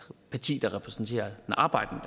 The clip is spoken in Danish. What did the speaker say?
parti der repræsenterer den arbejdende